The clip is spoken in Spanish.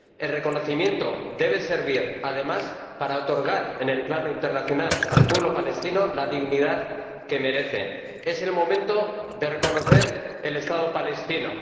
El reconocimiento debe servir, además, para otorgar en el plano internacional al pueblo palestino la dignidad que merece. Es el momento de reconocer al Estado palestino.